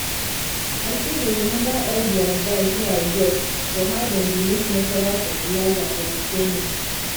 i still dey remember all di advise wey i get for how dem dey make natural fertilizer for di training